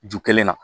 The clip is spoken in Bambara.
Ju kelen na